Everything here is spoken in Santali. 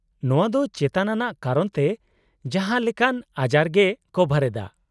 -ᱱᱚᱶᱟ ᱫᱚ ᱪᱮᱛᱟᱱ ᱟᱱᱟᱜ ᱠᱚᱨᱚᱱ ᱛᱮ ᱡᱟᱦᱟᱸ ᱞᱮᱠᱟᱱ ᱟᱡᱟᱨᱜᱮᱭ ᱠᱚᱵᱷᱟᱨ ᱮᱫᱟ ᱾